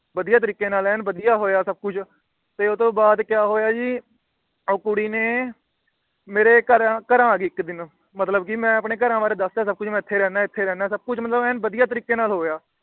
ਵਧੀਆ ਤਰੀਕੇ ਨਾਲ ਐਨ ਵਧੀਆ ਹੋਇਆ ਸਬ ਕੁਛ। ਤੇ ਓਹਤੋਂ ਬਾਅਦ ਕਿਆ ਹੋਇਆ ਜੀ ਉਹ ਕੁੜੀ ਨੇ ਮੇਰੇ ਘਰ ਘਰ ਆ ਗਈ ਇੱਕ ਦਿਨ। ਮਤਲਬ ਕਿ ਮੈ ਆਪਣੇ ਘਰਾਂ ਬਾਰੇ ਦੱਸਤਾ ਸਬ ਕੁਛ ਵੀ ਮੈ ਇੱਥੇ ਰਹਿੰਦਾ ਇੱਥੇ ਰਹਿੰਦਾ ਸਬ ਕੁਛ ਐਨ ਵਧੀਆ ਤਰੀਕੇ ਨਾਲ ਹੋਇਆ।